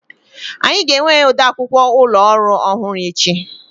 Anyị ga-enwe ode akwụkwọ ụlọ orụ ọhụrụ echi.